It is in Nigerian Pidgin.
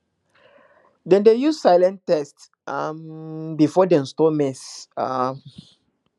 dem dey use silence tests um before dem store maize um